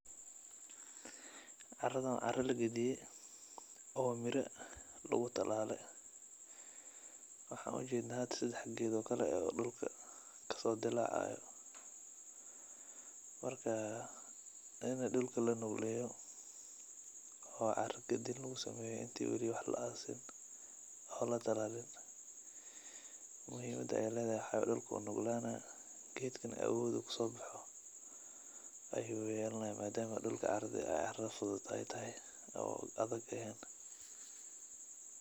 Caradhan wa cara cara lagadiye oo miraa lugutalale. Waxan ujednaa hada sedax ged oo kala eh oo dulka kasodilacayo, marka wa ini dulka lanugleyo oo cara gadin lugusameyo inti we; li wax laasin oo latalalin. Muhimada ay ledahay waxa way dulka uu nuglanah, gedkana awod uu kusobaxo ayu yelanah madama dulka ay cara fudud tahay oo adag ehen.